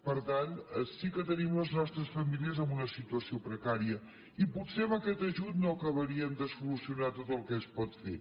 per tant sí que tenim les nostres famílies en una situació precària i potser amb aquest ajut no acabaríem de solucionar tot el que es pot fer